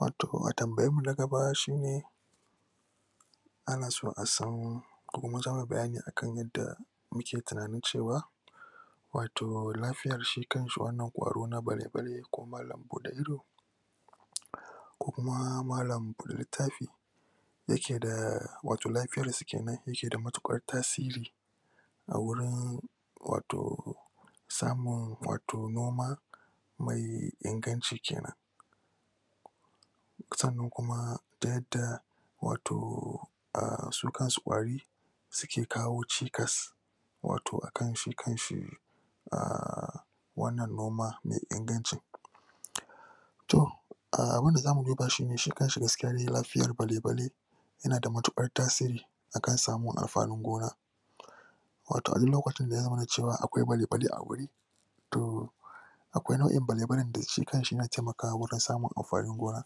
Wato a tambayan mu na gaba shi ne ana so asan bayani akan yadda muke tinanin cewa wato lafiyan shi kanshi wannan kwaro na bale bale ko malan bude ido kokuma malan bude littafi yake da... wato lafiyansu kenan yake da matukar tasiri a wurin wato samun wato noma mai inganci kenan sannan kuma da yadda wato ahh su kansu kwari suke kawo cikas wato a kan shi kanshi ahh wannan noma mai ingancin toh, ahh abin da zamu duba shi ne, shi kanshi gaskiya dai lafiyan bale bale yanada matukar tasiri akan samu amfani gona wato a duk lokacin da ya zama cewa akwai bale bale a guri toh akwai nau'in bale balen da shi kanshi yana taimakwa wajen samun amfanin gona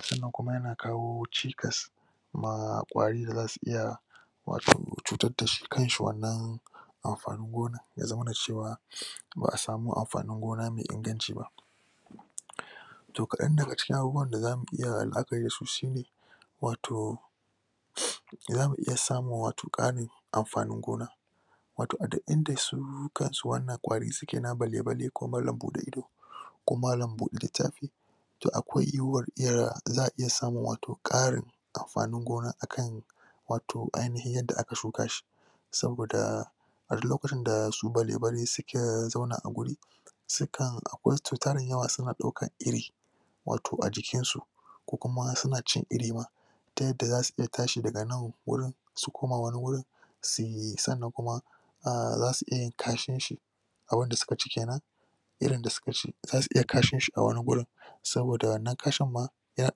sannan kuma yana kawo cikas ma kwari dazu iya wato cutar dasi kanshi wannan amfanin gonan, ya zamana cewa ba'a samu amfanin gona mai inganci ba toh kadan daga cikin abubuwan da zamu iya la'akari dasu shi ne wato zamu iya samun wato karin amfanin gona wato a dik inda su kansu wannan kwarin suke na bale bale ko malan bude ido ko malan bude littafi toh, akwai za'a iya samun wato karin amfanin gona akan wato ainihin yadda aka shuka shi saboda a dik lokacin da su bale bale suka zauna a guri sukan akwai su tarin yawa suna daukan iri wato a jikinsu kokuma suna cin iri ma ta yadda zasu iya tashi daga nan guri su kuma wani gurin suyi sannan kuma ah zasu iya yin kashinshi a wanda suka ci kenan irin da suka ci zasu iya kashinshi a wani gurin saboda wanna kashin ma yana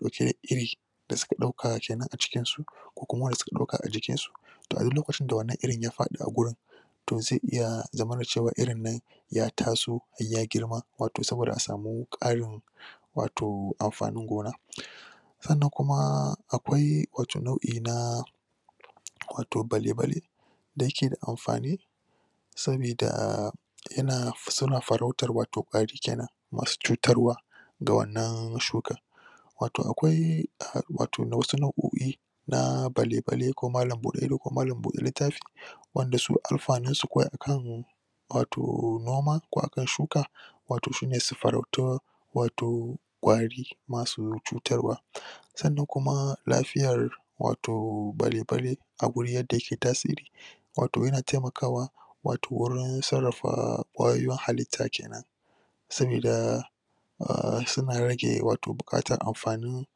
dauke da iri da suka dauka kenan a cikin su ko kuma wanda suka dauka a jikin su to a duk lokacin da wanna irin ya fadi a gurin to zai iya zamana cewa irin nan ya taso ya girma wato saboda a samu karin wato anfanin gona san nan kuma akwai wato nau`i na wato bale bale da yake da anfani sabidaa yana fa.. suna farautar wato fari kenan masu cutarwa da wannan shukan wato akwai ahh wato na wasu nau`oi na bale bale, ko malam bude ido, ko malam bude littafi wanda su alfanin su kawai akan wato noman ko akan shuka wato shine su farautin wato kwari masu cutarwa sannan kuma lafiyar wato bale bale a guri yadda yake tasiri wato yana taimakawa wato wuri sarrafa kwayoyin hallita kenan sabida ahh suna rage wato bukatar anfanin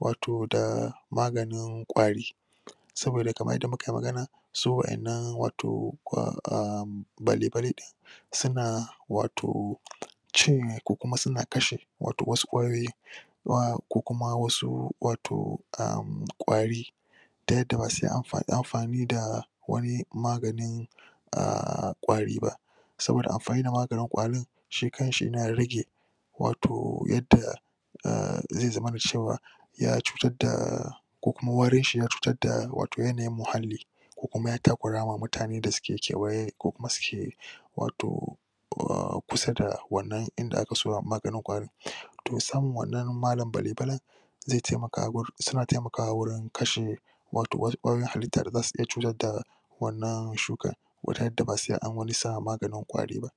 wato da maganin kwari saboda kamar yadda muka yi magani su wayannan wato ahh ahh bale bale suna wato ciyen ko kuma suna kashe wato wasu kwayoyin ma ko kuma wasu wato umm kwari da yadda ba sai an.. anfani da wani maganin ahh kwari ba saboda anfani da magani kwarin shi kanshi na rage wato yadda umm zai zamana cewa ya cutar daaa ko kuma warin shi ya cutar da wato yanayin muhalli ko kuma ya takurama mutane da suke kewaye ko kuma suke wato umm kusa da wannan inda aka maganin kwarin toh samun wannan malam bale balen zai taimaka wur.. suna taimakawa wurin kashe wato wasu kwayoyin hallita da zasu iya cutar da wannan shukar gurin yadda ba sai an wani sa maganin kwari ba